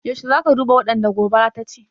Yaushe za ka duba waɗanda gobara ta ci?